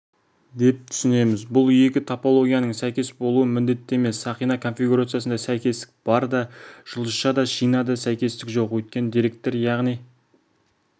деп түсінеміз бұл екі топологияның сәйкес болуы міндетті емес сақина конфигурациясында сәйкестік бар да жұлдызшада шинада сәйкестік жоқ өйткені деректер яғни